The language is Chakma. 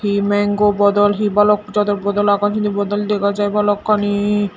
he mango bodol he bhalok jado bodol agon sindi bodol dega jiy bhalokkani.